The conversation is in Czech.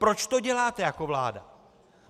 Proč to děláte jako vláda?